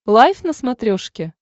лайф на смотрешке